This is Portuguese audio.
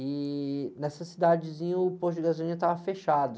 E nessa cidadezinha o posto de gasolina estava fechado.